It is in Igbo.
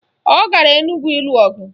Ọ gara Enugwu ịlụ ọgụ